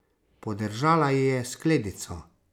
Podržala ji je skledico.